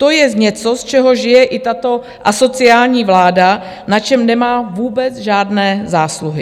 To je něco, z čeho žije i tato asociální vláda, na čem nemá vůbec žádné zásluhy.